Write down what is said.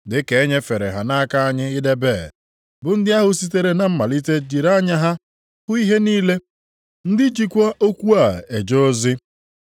Dị ka e nyefere ha nʼaka anyị idebe bụ ndị ahụ sitere na malite jiri anya ha hụ ihe niile, ndị jikwa okwu a eje ozi.